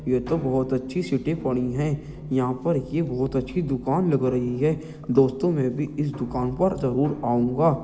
ये तो बहोत अच्छी सिटी बनी है| यहाँ पर ये बहोत अच्छी दुकान लग रही है| दोस्तों में भी इस दुकान पर जरुर आऊंगा।